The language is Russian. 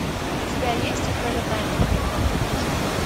у тебя есть пролетая над гнездом кукушки